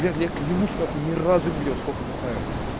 лен я клянусь нахуй ни разу не видел сколько бухаю